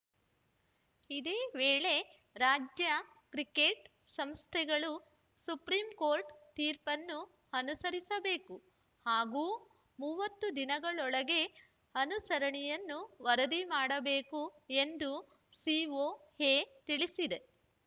ಇದೇ ವೇಳೆ ರಾಜ್ಯ ಕ್ರಿಕೆಟ್‌ ಸಂಸ್ಥೆಗಳು ಸುಪ್ರೀ ಕೋರ್ಟ್‌ ತೀರ್ಪನ್ನು ಅನುಸರಿಸಬೇಕು ಹಾಗೂ ಮೂವತ್ತು ದಿನಗಳೊಳಗೆ ಅನುಸರಣಿಯನ್ನು ವರದಿ ಮಾಡಬೇಕು ಎಂದು ಸಿಒಎ ತಿಳಿಸಿದೆ